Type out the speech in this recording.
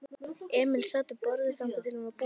Emil sat við borðið þangað til hún var búin.